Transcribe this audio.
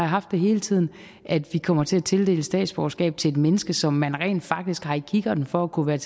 haft det hele tiden at vi kommer til at tildele statsborgerskab til et menneske som man rent faktisk har i kikkerten for at kunne